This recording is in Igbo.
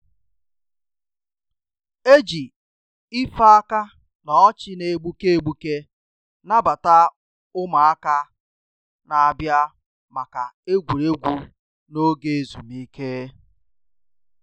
E ji ife aka na ọchị na-egbuke egbuke nabata ụmụaka na-abia maka egwuregwu n'oge ezumike